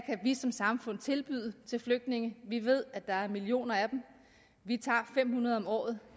vi som samfund kan tilbyde flygtninge vi ved at der er millioner af dem vi tager fem hundrede om året